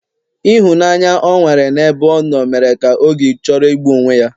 Ịhụnanya o nwere n'ebe ọ nọ mere ka o gi chọrọ igbu onwe ya